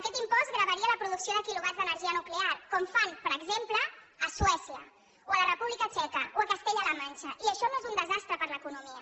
aquest impost gravaria la producció de quilovats d’energia nuclear com fan per exemple a suècia o a la república txeca o a castella la manxa i això no és un desastre per a l’economia